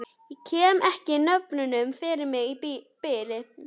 Ég kem ekki nöfnunum fyrir mig í bili.